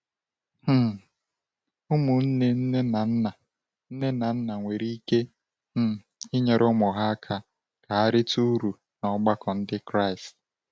um Ụmụnne nne na nna nne na nna nwere ike um inyere ụmụ ha aka ka ha rite uru n’ọgbakọ Ndị Kraịst.